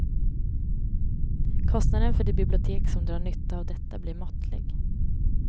Kostnaden för det bibliotek som drar nytta av detta blir måttlig.